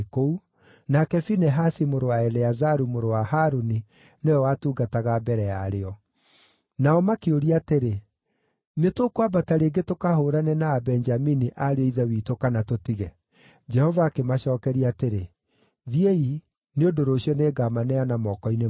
nake Finehasi mũrũ wa Eleazaru, mũrũ wa Harũni, nĩwe watungataga mbere yarĩo.) Nao makĩũria atĩrĩ, “Nĩtũkwambata rĩngĩ tũkahũũrane na Abenjamini ariũ a ithe witũ, kana tũtige?” Jehova akĩmacookeria atĩrĩ, “Thiĩi, nĩ ũndũ rũciũ nĩngamaneana moko-inĩ manyu.”